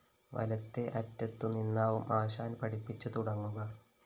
വലത്തേ അറ്റത്തുനിന്നാവും ആശാന്‍ പഠിപ്പിച്ച് തുടങ്ങുക